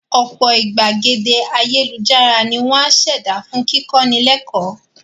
Ọ̀pọ̀ ìgbàgede ayélujára ni wọ́n á ṣẹ̀dá fún kíkọ́ni lẹ́kọ́ọ̀